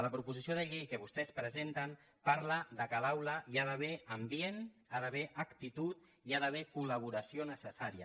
la proposició de llei que vostès presenten parla que a l’aula hi ha d’haver ambient hi ha d’haver actitud i hi ha d’haver col·laboració necessària